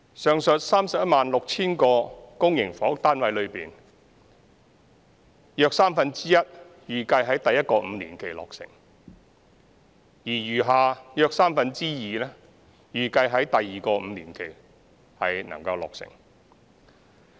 上述 316,000 個公營房屋單位中，約三分之一預計在第一個5年期落成，而餘下約三分之二預計在第二個5年期落成。